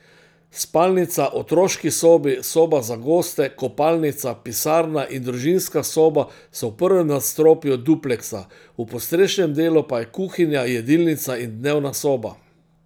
Spalnica, otroški sobi, soba za goste, kopalnica, pisarna in družinska soba so v prvem nadstropju dupleksa, v podstrešnem delu pa je kuhinja, jedilnica in dnevna soba.